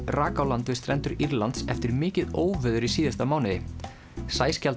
rak á land við strendur Írlands eftir mikið óveður í síðasta mánuði